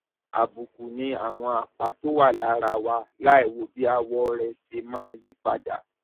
àbùkù ni àwọn àpá tó wà lára wa láìwo bí àwọ rẹ ṣe máa yí padà